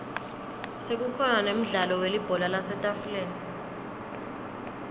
sekukhona nemdlalo webhola lasetafuleni